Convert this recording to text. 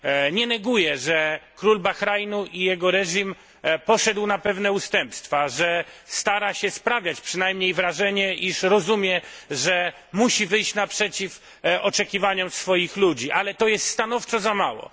Nie neguję, że król Bahrajnu i jego reżim poszedł na pewne ustępstwa, że stara się sprawiać przynajmniej wrażenie, iż rozumie, że musi wyjść naprzeciw oczekiwaniom swoich ludzi, ale to jest stanowczo za mało.